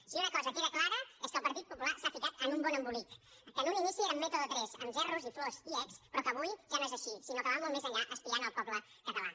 si una cosa queda clara és que el partit popular s’ha ficat en un bon embolic que en un inici era método tres amb gerros flors i exs però que avui ja no és així sinó que va molt més enllà espiant el poble català